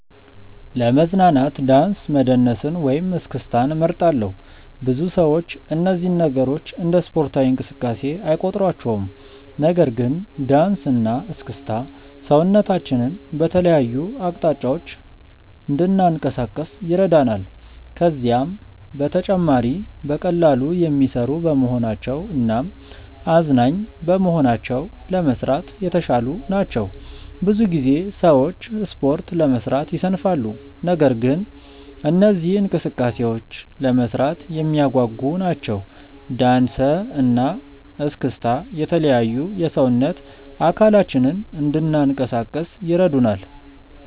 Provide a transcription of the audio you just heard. ለመዝናናት ዳንስ መደነስን ወይም እስክስታን እመርጣለሁ። ብዙ ሰዎች እነዚህን ነገሮች እንደ ስፖርታዊ እንቅስቃሴ አይቆጥሯቸውም። ነገር ግን ዳንስ እና እስክስታ ሰውነታችንን በተለያዩ አቅጣጫዎች እንድናንቀሳቅስ ይረዳናል። ከዛም በተጨማሪ በቀላሉ የሚሰሩ በመሆናቸው እናም አዝናኝ በመሆናቸው ለመስራት የተሻሉ ናቸው። ብዙ ጊዜ ሰዎች ስፖርት ለመስራት ይሰንፋሉ። ነገር ግን እነዚህ እንቅስቃሴዎች ለመስራት የሚያጓጉ ናቸው። ዳንሰ እና እስክስታ የተለያዩ የሰውነት አካላችንን እንናንቀሳቀስ ይረዱናል።